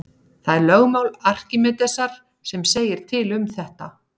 Það er lögmál Arkímedesar sem segir til um þetta.